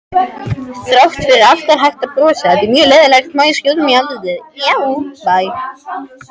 Þrátt fyrir allt var hægt að brosa.